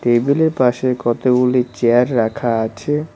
টেবিলের পাশে কতগুলি চেয়ার রাখা আছে।